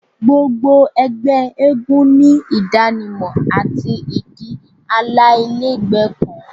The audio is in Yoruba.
Gbogbo ẹgbẹ eégún ni idanimọ ati idi alailẹgbẹ kan